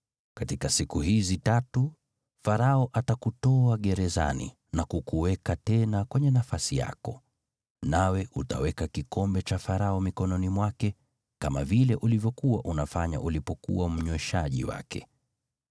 Katika siku hizi tatu, Farao atakutoa gerezani na kukuweka tena kwenye nafasi yako, nawe utaweka kikombe cha Farao mikononi mwake, kama vile ulivyokuwa unafanya ulipokuwa mnyweshaji wake.